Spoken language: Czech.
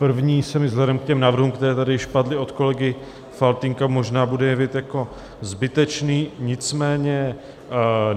První se mi vzhledem k těm návrhům, které tady již padly od kolegy Faltýnka, možná bude jevit jako zbytečný, nicméně...